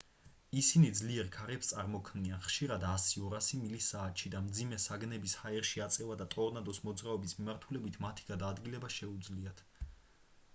ისინი ძლიერ ქარებს წარმოქმნიან ხშირად 100-200 მილი/საათში და მძიმე საგნების ჰაერში აწევა და ტორნადოს მოძრაობის მიმართულებით მათი გადაადგილება შეუძლიათ